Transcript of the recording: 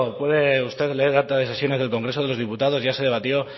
puede usted leer el acta de sesiones del congreso de los diputados ya se debatió